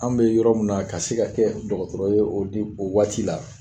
An' be yɔrɔ min na ka se ka kɛ dɔgɔtɔrɔ ye o di o waati la